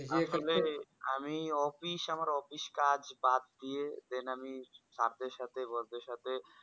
আসলেই আমি office আমার office কাজ বাদ দিয়ে দেন আমি সাথে সাথে বন্ধুদের সাথে